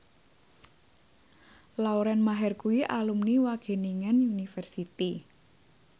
Lauren Maher kuwi alumni Wageningen University